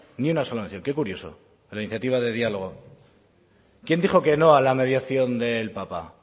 ni una sola mención qué curioso a la iniciativa de diálogo quién dijo que no a la mediación del papa